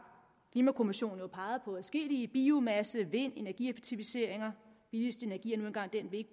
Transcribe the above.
klimakommissionen har jo peget på adskillige biomasse vind energieffektiviseringer billigst energi er nu engang den vi